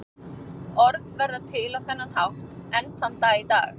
Orð verða til á þennan hátt enn þann dag í dag.